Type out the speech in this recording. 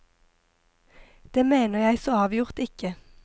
Det mener jeg så avgjort ikke.